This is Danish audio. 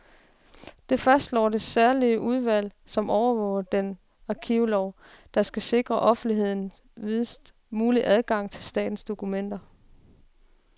Det fastslår det særlige udvalg, som overvåger den arkivlov, der skal sikre offentligheden videst mulig adgang til statens dokumenter.